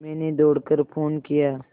मैंने दौड़ कर फ़ोन किया